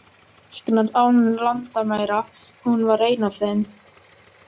Læknar án landamæra, hún var ein af þeim.